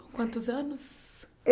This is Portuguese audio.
Com quantos anos?